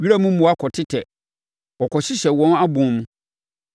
Wiram mmoa kɔtetɛ; wɔkɔhyehyɛ wɔn abɔn mu.